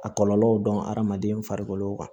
A kɔlɔlɔw dɔn hadamaden farikolo kan